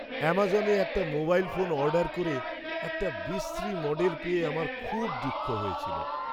অ্যামাজনে একটা mobile phone order করে একটা বিশ্রী মডেল পেয়ে আমার খুব দুঃখ হয়েছিল।